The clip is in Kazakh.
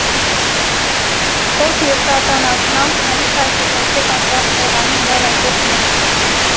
сол себепті ата анасынан қанша жеткіншек ажырап қалғанын дәл айту қиын